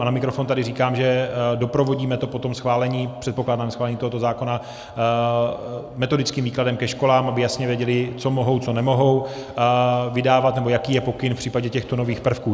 A na mikrofon tady říkám, že doprovodíme to po tom schválení, předpokládám schválení tohoto zákona, metodickým výkladem ke školám, aby jasně věděly, co mohou, co nemohou vydávat nebo jaký je pokyn v případě těchto nových prvků.